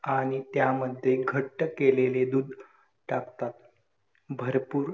अ pathological अ treatment बद्दल आपण माहिती घेऊ शकतो .